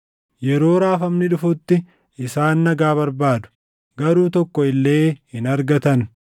Yeroo raafamni dhufutti isaan nagaa barbaadu; garuu tokko illee hin argatan.